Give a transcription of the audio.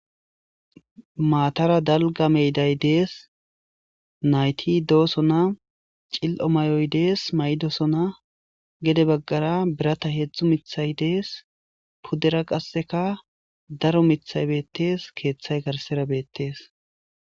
maatara dalga meyday dees nayti doosona cil7o may7oy dees maydosona gede baggara birata heedzdzu mithay dees pudera qasseka daro mithay beettees keeththay garsera beettees